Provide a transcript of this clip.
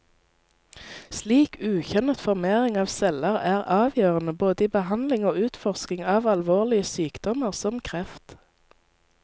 Slik ukjønnet formering av celler er avgjørende både i behandling og utforskning av alvorlige sykdommer som kreft.